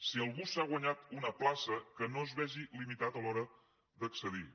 si algú s’ha guanyat una plaça que no es vegi limitat a l’hora d’accedir hi